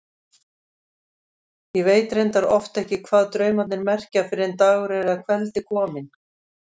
Ég veit reyndar oft ekki hvað draumarnir merkja fyrr en dagur er að kveldi kominn.